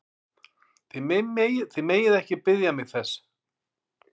Þið megið ekki biðja mig þess!